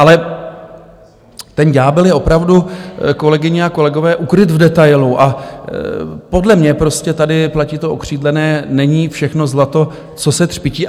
Ale ten ďábel je opravdu, kolegyně a kolegové, ukryt v detailu a podle mě prostě tady platí to okřídlené: není všechno zlato, co se třpytí.